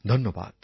ধন্যবাদ